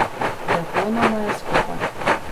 Lepo nama je skupaj.